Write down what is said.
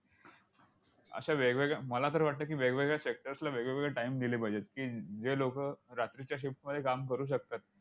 अश्या वेगवेगळ्या मला तर वाटतं की, वेगवेगळ्या sectors ला वेगवेगळे time दिले पाहिजेत की, जे लोकं रात्रीच्या shift मध्ये काम करू शकतात,